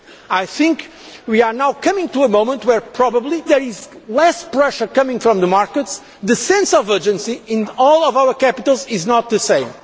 I think we are now coming to a moment where, probably because there is less pressure coming from the markets, the sense of urgency in all of our capitals is not the